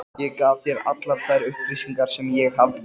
Ég gaf þér allar þær upplýsingar, sem ég hafði.